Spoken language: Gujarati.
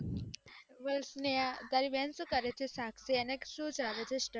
શાક્ષી તારી બેન સુ કરે છે શાક્ષી એને શું ચાલે છે study માં